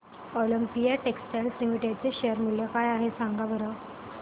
Olympia Textiles Limited चे share मूल्य काय आहे सांगा बरं